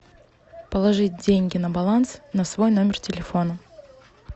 положить деньги на баланс на свой номер телефона